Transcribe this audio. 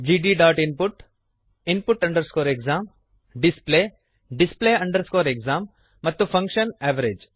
gdinput input exam display display exam ಮತ್ತು function average